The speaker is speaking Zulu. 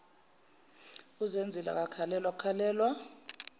uzenzile akakhalelwa kukhalelwa